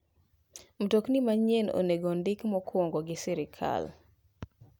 Mtokni manyien oneng'o ondik mokwongo gi sirkal.